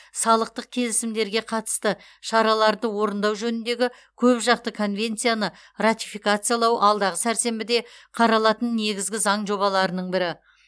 салықтық келісімдерге қатысты шараларды орындау жөніндегі көпжақты конвенцияны ратификациялау алдағы сәрсенбіде қаралатын негізгі заң жобаларының бірі